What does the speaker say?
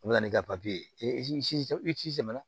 O bɛ na ni kati ye i sɛmɛna